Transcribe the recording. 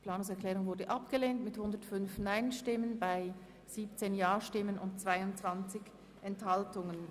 Sie haben diese Planungserklärung abgelehnt.